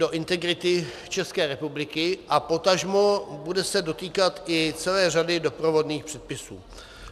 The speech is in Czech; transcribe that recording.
- do integrity České republiky a potažmo se bude dotýkat i celé řadě doprovodných předpisů.